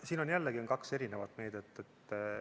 Siin on jällegi kaks eri meedet.